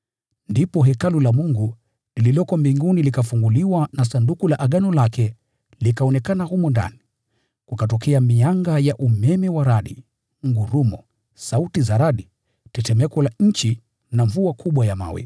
Ndipo hekalu la Mungu lililoko mbinguni likafunguliwa, na sanduku la agano lake likaonekana humo ndani. Kukatokea mianga ya umeme wa radi, ngurumo, sauti za radi, tetemeko la nchi na mvua kubwa ya mawe.